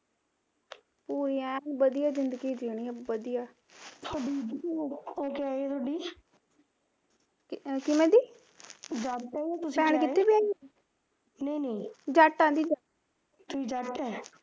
ਉਹ ਯਾਰ ਵਧੀਆ ਜ਼ਿੰਦਗੀ ਜੀਊਣੀ ਵਧੀਆ ਉਹ ਤਾਂ ਕਿਵੇ ਦੀ ਜੱਟ ਐ ਦੀ